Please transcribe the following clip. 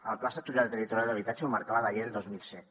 el pla sectorial de territori i d’habitatge el marcava la llei del dos mil set